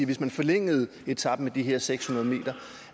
hvis man forlængede etapen med de her seks hundrede m